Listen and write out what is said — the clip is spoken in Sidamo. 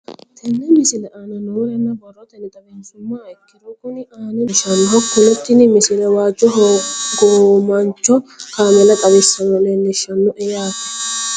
Tenne misile aana noore borrotenni xawisummoha ikirro kunni aane noore leelishano. Hakunno tinni misile waajo hogowaancho kaameella xawisse leelishshanno yaate.